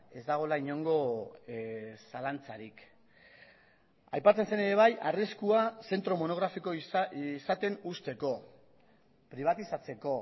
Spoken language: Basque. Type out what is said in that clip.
ez dagoela inongo zalantzarik aipatzen zen ere bai arriskua zentro monografiko izaten uzteko pribatizatzeko